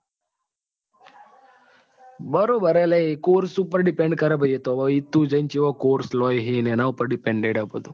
બરોબર હે લ્યા એ course ઉપર depend કરે ભાઈ એતો તું જી ને કેવો course લઈ હી ને એના પર dependent હે બધું.